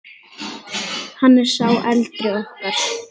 Hann er sá eldri okkar.